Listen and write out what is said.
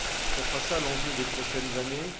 Ce sera l'enjeu des prochaines années.